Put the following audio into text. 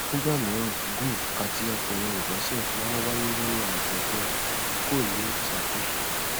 nígbà mìíràn gove àti àpẹẹrẹ ìbọsẹ máa ń wáyé nínú àtọgbẹ tí kò ní ìṣàkóso